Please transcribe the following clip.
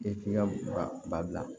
E k'i ka ba bila